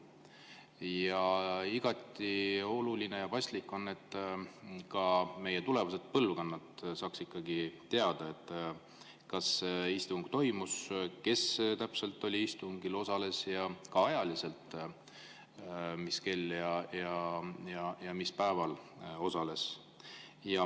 Ja igati oluline ja paslik on, et ka tulevased põlvkonnad saaksid ikkagi teada, kas istung toimus, kes täpselt istungil osalesid ja ka ajaliselt, mis kell ja mis päeval osalesid.